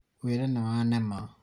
wĩra nĩwanema